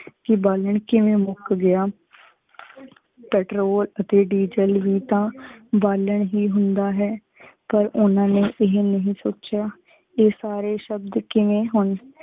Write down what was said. ਕੀ ਬਾਲਨ ਕੇਵੇ ਮੁਕ ਗਯਾ ਪੇਟ੍ਰੋਲ ਅਤੀ ਡੀਜ਼ਲ ਵੀ ਤਾ ਬਾਲਨ ਹੀ ਹੁੰਦਾ ਹੈ ਪਰ ਓਹਨਾ ਨੇ ਏ ਨਹੀ ਸੋਚ੍ਯਾ। ਏ ਸਾਰੇ ਸ਼ਬਦ ਕੇਵੇ ਹੋਣ